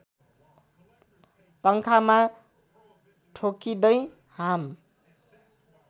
पङ्खामा ठोक्किँदै हाम